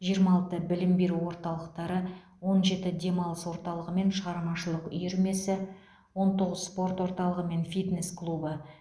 жиырма алты білім беру орталықтары он жеті демалыс орталығы мен шығармашылық үйірмесі он тоғыз спорт орталығы мен фитнес клубы